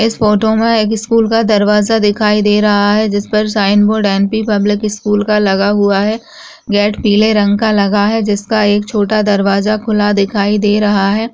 इस फोटो में स्कूल का दरवाजा दिखाई दे रहा है जिस पर sign board M P public school लगा हुआ है गेट पिले कलर का लगा हुआ है जिसका एक छोटा दरवाजा खुला दिखाई दे रहा है।